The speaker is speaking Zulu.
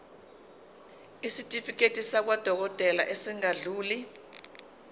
isitifiketi sakwadokodela esingadluli